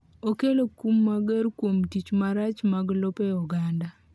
okelo kum mager kuom tich marach mag lope oganda